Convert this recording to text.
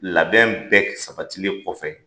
Labɛn bɛ de sabati len kɔfɛ